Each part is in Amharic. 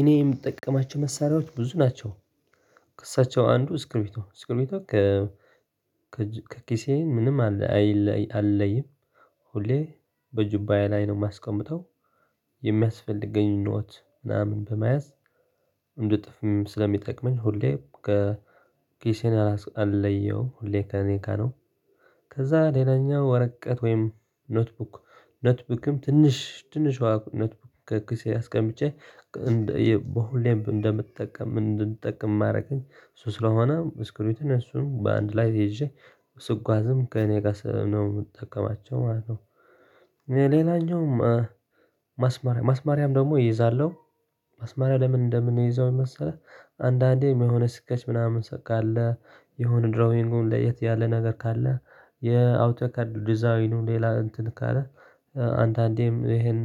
እኔ የምጠቀማቸው መሳሪያዎች ብዙ ናቸው። ከእሳቸው አንዱ ስክቢርቶ ከ ከኪሴ ምንም አልለኝም። ሁሌ በጁባኤ ላይ ነው የማስቀምጠው። የሚያስፈልገኝ ኖት ምናምን በመያዝ እንድጽፍም ስለሚጠቅመኝ ሁሌ ከኪሴን አልለየውም ሁሌ ከኔ ጋር ነው። ከዛ ሌላኛው ወረቀት ወይም ኖትቡክ ኖትቡክም ትንሽ ትንሿ ኖትቡክ ከኪሴ አስቀምጬ። በሁሌም እንደምጠቀመው እንድንጠቅም የሚያረገኝ እሱ ስለሆነ ስክቢሪቶን እሱን በአንድ ላይ ይዤ ስጓዝም ከእኔ ጋር ነው የምጠቀማቸው ማለት ነው። ሌላኛውም ማስማሪያም ደግሞ እይዛለሁ ማስማሪያ ለምን እንደምንይዘው መሰለህ? አንዳንዴ የሆነ ስኬች ምናምን ካለ የሆነ ድሮይንጉ ለየት ያለ ነገር ካለ የአውቶ ካርዱ ዲዛይኑ ነው ሌላ እንትን ካለ አንዴም ይሄን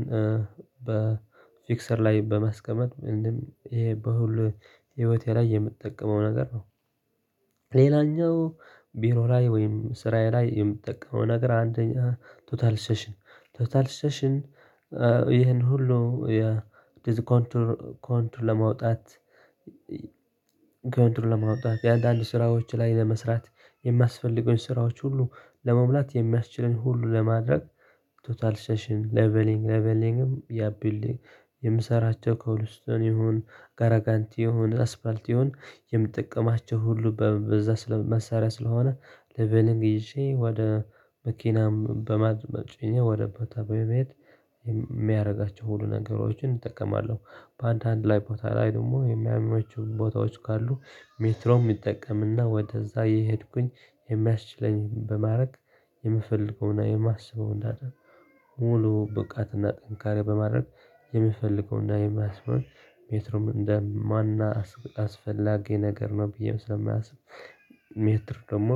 በፊቅሰር ላይ በማስቀመጥ ምንም ይሄ በሁሉ ህይወቴ ላይ የምትጠቀመው ነገር ነው። ሌላኛው ቢሮ ላይ ወይም ስራዬ ላይ የምጠቀመው ነገር አንደኛ ቶታል ሴሽን ቶታል ሴሽን። ይሄን ሁሉ ኮንትሮል ለማውጣት ኮንትሮል ለማውጣት የአንዳንድ ስራዎች ላይ ለመስራት የሚያስፈልገውን ስራዎች ሁሉ ለመሙላት የሚያስችለኝ ሁሉ ለማድረግ። ቶታል ሴሽን ሌቨሊንግ ሌቨሊንግም ያ ቢውልዲንግ የምሰራቸው ኮቭልስቶን ይሁን ገራጋንቲ ይሁን አስፋልት ይሁን የምትጠቀማቸው ሁሉ በዛ ስለመሳሪያ ስለሆነ። ሌቢልግብን ይዤ ወደ መኪናም በማድመጥ የሆነ ቦታ በመሄድ የሚያደርጋቸው ሁሉ ነገሮችን እጠቀማለሁ። በአንዳንድ ላይ ቦታ ላይ ደግሞ የሚያመቹ ቦታዎች ካሉ ሜትሮም ይጠቀምና ወደዛ የሄድኩኝ የሚያስችለኝን በማድረግ የምፈልገውንና የማስበውን እንዳለ ሙሉ ብቃት እና ጠንካራ በማድረግ የምፈልገው እና የማስበው ሜትሩም እንደ ማን አስፈላጊ ነገር ነው ብዬ ስለማስብ። ሜትር ደግሞ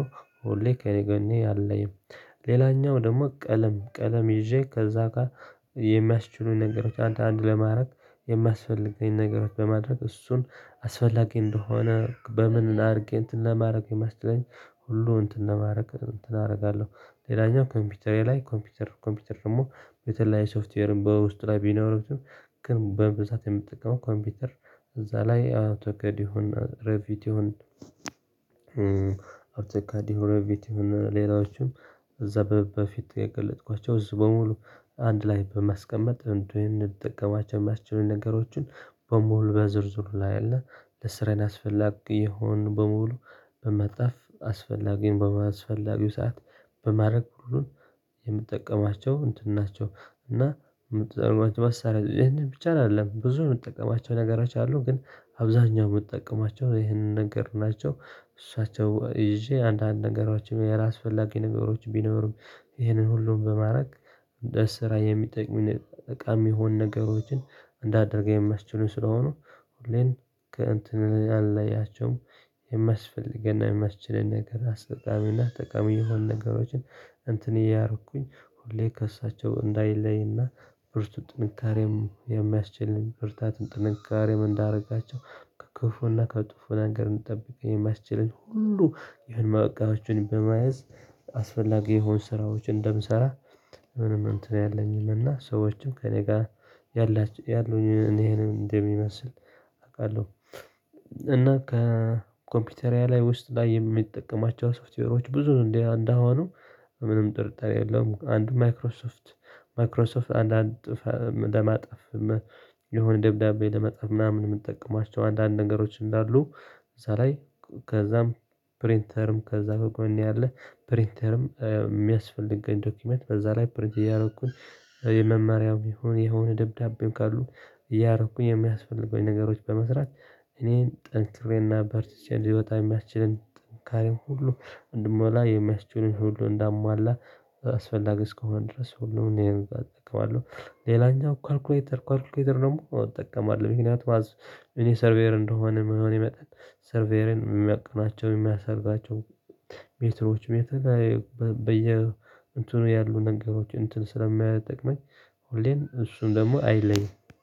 ሁሌ ከእኔ ከጎኔ ያለ ሌላኛው ደግሞ ቀለም ቀለም ይዤ ከዛ ጋር የሚያስችሉኝ ነገሮች አንዳንድ ለማድረግ የሚያስፈልገኝ ነገሮች በማድረግ እሱን አስፈላጊ እንደሆነ በምን አድርጌ እንትን ለማድረግ የማስችለኝ ሁሉ እንትን ለማድረግ እንትን አደርጋለሁ። ሌላኛው ኮምፒውተሬ ላይ ኮምፒውተር ደግሞ በተለያዩ ሶፍትዌር በውስጥ ላይ ቢኖሩትም ግን በብዛት የምትጠቀመው ኮምፒውተር እዛ ላይ አውቶ ካድ ይሁን ሬቪቲ ይሁን። አውቶ ካድ ሬቪቲ ይሁን ሌላዎችን እዛ በፊት የገለጥኳቸው እዚህ በሙሉ አንድ ላይ በማስቀመጥ እንድንጠቀማቸው የሚያስችሉኝ ነገሮችን በሙሉ በዝርዝሩ ላይ አለ። ለስራዬን ያስፈልግ ይሆን በሙሉ በማጠፍ አስፈላጊን በማስፈላጊው ሰዓት በማድረግ ሁሉን የምጠቀማቸው እንትን ናቸው። እና የምትጠቀማቸው መሳሪያ ይሄንን ብቻ አይደለም ብዙ የምጠቀማቸው ነገሮች አሉ ግን አብዛኛው የምትጠቀማቸው ይሄንን ነገር ናቸው። እሳቸው ይዤ አንዳንድ ነገሮችም ያላስፈላጊ ነገሮች ቢኖሩም ይሄንን ሁሉንም በማድረግ ለስራ የሚጠቅሙኝ እቃ የሚሆን ነገሮችን እንዳደርገው የሚስችሉኝ ስለሆኑ። እንትን አላያቸውም የማስፈልገን የሚያስችለን ነገር አስጠቃሚና ጠቃሚ የሆኑ ነገሮችን እንትን እያረኩኝ ሁሌ ከእሳቸው እንዳይለይና ብርቱ ጥንካሬም የሚያስችልኝ ብርታትን ጥንካሬም እንዳደረጋቸው ከክፉና ከክፉ ነገር እንድንጠብቀኝ የማስችለኝ ሁሉ የሆነ እቃወቹን በመያዝ። አስፈላጊ የሆኑ ስራዎችን እንደምሰራ ምንም እንትን ያለኝም እና ሰዎችን ከእኔ ጋር ያሉኝን ይሄንም እንደሚመስል አውቃለሁ። እና ከኮምፒውተሪያ ላይ ውስጥ ላይ የሚጠቀማቸው ሶፍትዌሮች ብዙ እንዴ አንድ አሁኑ ምንም ጥርጣሬ የለም። አንድ ማይክሮሶፍት ማይክሮሶፍት አንዳንድ ለማጥፍ የሆነ ደብዳቤ ለመጻፍ ምናምን የምንጠቀማቸው አንዳንድ ነገሮች እንዳሉ። እዛ ላይ ከዛም ፕሪንተርም ከዛ ከጎኔ አለ። ፕሪንተርም የሚያስፈልገኝ ዶክመት በዛ ላይ ፕሪንት እያረኩኝ የመማሪያው ይሁን የሆነ ደብዳቤው ካሉ እያረኩኝ የሚያስፈልገውን ነገሮች በመስራት። እኔን ጠንክሬና በርትቸቼ ልይወጣ የሚያስችለን ጥንካሬው ሁሉ እንድሞላ የሚያስችሉን ሁሉ እንዳሟላ አስፈላጊ እስከሆነ ድረስ ሁሉንም እኔን እጠቀማለሁ። ሌላኛው ካልኩሌተር ካልኩሌተር ደግሞ እጠቀማለሁ ምክንያቱም እኔ ሰርቬር እንደመሆኔ መጠን ሰርቬሬን የሚያቅናቸው የሚያሰርታቸው ሜትሮች ሜትር በየ እንትኑ ያሉ ነገሮች እንትን ስለሚጠቀመኝ ሁሌም እሱን ደግሞ አይለይም